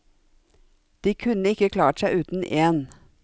De kunne ikke klart seg uten én.